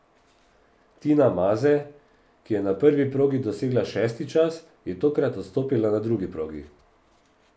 Tina Maze, ki je na prvi progi dosegla šesti čas, je tokrat odstopila na drugi progi.